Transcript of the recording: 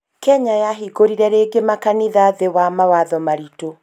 Kenya yahingũrire rĩngĩ makanitha thĩĩ wa mawatho maritu